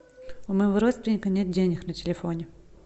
у моего родственника нет денег на телефоне